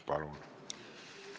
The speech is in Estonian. Palun!